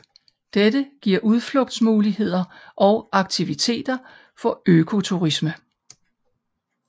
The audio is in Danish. Dette giver udflugtsmuligheder og aktiviteter for økoturisme